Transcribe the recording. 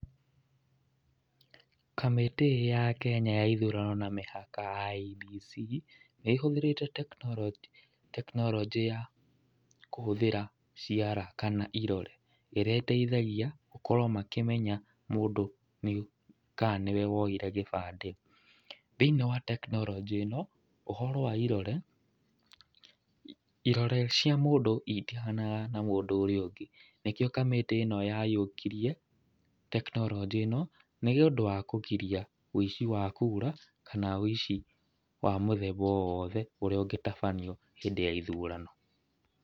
Kamĩtĩ ya Kenya ya ithurano na mĩhaka ya IEBC nĩ ĩhũthĩrĩte tekinoronjĩ ya kũhuthĩra ciara kana irore, ĩrĩa ĩteithagia gũkorwo makĩmenya mũndũ kana nĩ woire gĩbandĩ. Thĩiniĩ wa tekinoronjĩ ĩno ũhoro wa irore, irore cia mũndũ itihananaga na cia mũndũ ũngĩ. Nĩkĩo kamĩtĩ ĩno yaiyũkirie tekinoronjĩ ĩno, nĩ ũndũ wa kũgiria ũici wa kura, kana ũici wa mũthemba o wothe ũrĩa ũngĩtabanio hĩndĩ ya ithurano.